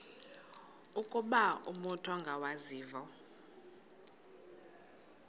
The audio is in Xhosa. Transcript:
ukuba umut ongawazivo